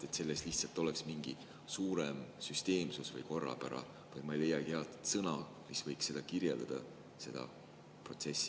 Lihtsalt võiks olla mingi suurem süsteemsus või korrapära – ma ei leiagi head sõna, mis võiks paremini kirjeldada seda protsessi.